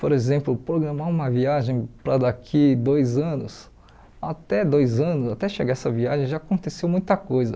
Por exemplo, programar uma viagem para daqui dois anos, até dois anos, até chegar essa viagem, já aconteceu muita coisa.